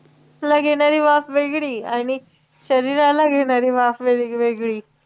face ला घेणारी वाफ वेगळी आणि शरीराला घेणारी वाफ वेगवेगळी